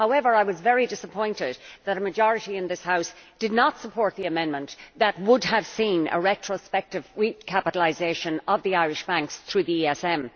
However, I was very disappointed that a majority in this House did not support the amendment that would have seen a retrospective recapitalisation of the Irish banks through the ESM.